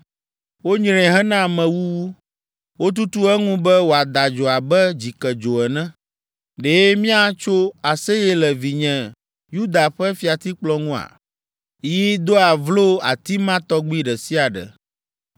Wonyree hena amewuwu wotutu eŋu be wòada dzo abe dzikedzo ene! “ ‘Ɖe míatso aseye le vinye Yuda ƒe fiatikplɔ ŋua? Yi doa vlo ati ma tɔgbi ɖe sia ɖe.